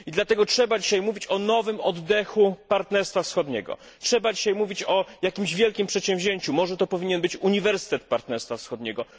I dlatego trzeba dzisiaj mówić o nowym oddechu partnerstwa wschodniego, trzeba dzisiaj mówić o jakimś wielkim przedsięwzięciu może to powinien być Uniwersytet Partnerstwa Wschodniego?